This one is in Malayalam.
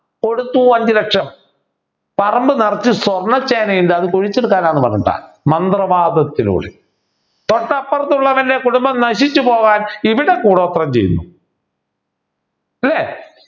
കൊടുത്തു അഞ്ചുലക്ഷം പറമ്പു നിറച്ചും സ്വർണ ചേനയുണ്ട് അത് കുഴിച്ചെടുക്കാനാന്ന് പറഞ്ഞിട്ട മന്ത്രവാദത്തിലൂടെ തൊട്ടപ്പറത്തുള്ളവൻ്റെ കുടുംബം നശിച്ചു പോകാൻ ഇവിടെ കൂടോത്രം ചെയ്യുന്നു അല്ലേ